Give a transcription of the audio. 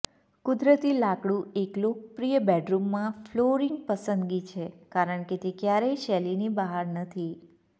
કુદરતી લાકડું એક લોકપ્રિય બેડરૂમમાં ફ્લોરિંગ પસંદગી છે કારણ કે તે ક્યારેય શૈલીની બહાર નથી